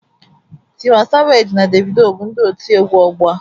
Tiwa Saveji na Devido bụ ndị otiegwu ọgbọ a.